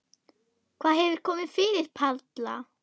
Hvað hefur komið fyrir Palla?